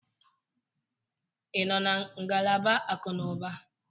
Ị nọ na ngalaba akụnụba?